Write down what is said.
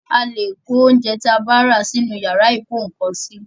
A le kò oúnjẹ tí a bá rà sì inú yàrá ìkó ǹkan sí